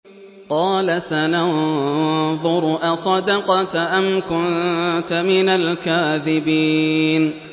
۞ قَالَ سَنَنظُرُ أَصَدَقْتَ أَمْ كُنتَ مِنَ الْكَاذِبِينَ